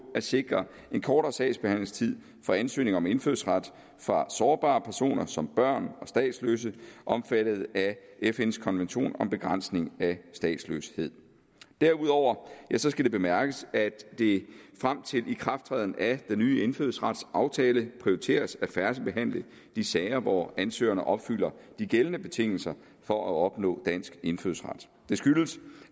at sikre en kortere sagsbehandlingstid for ansøgninger om indfødsret fra sårbare personer som børn og statsløse omfattet af fns konvention om begrænsning af statsløshed derudover skal det bemærkes at det frem til ikrafttræden af den nye indfødsretsaftale prioriteres at færdigbehandle de sager hvor ansøgerne opfylder de gældende betingelser for at opnå dansk indfødsret det skyldes